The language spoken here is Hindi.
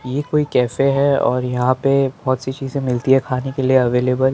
ये कोई कैफे हैं और यहां पे बहोत सी चीजे मिलती है खाने के लिए अवेलेबल --